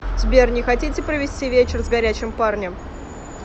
сбер не хотите провести вечер с горячем парнем